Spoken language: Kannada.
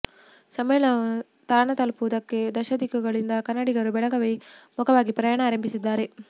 ಸಮ್ಮೇಳನದ ತಾಣ ತಲಪುವುದಕ್ಕೆ ದಶದಿಕ್ಕುಗಳಿಂದ ಕನ್ನಡಿಗರು ಬೆಳಗಾವಿ ಮುಖವಾಗಿ ಪ್ರಯಾಣ ಆರಂಭಿಸಿದ್ದಾರೆ